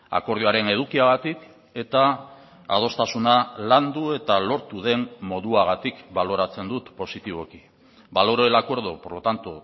akordioaren edukiagatik eta adostasuna landu eta lortu den moduagatik baloratzen dut positiboki valoro el acuerdo por lo tanto